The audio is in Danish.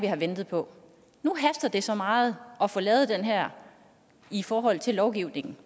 have ventet på nu haster det så meget at få lavet den her i forhold til lovgivningen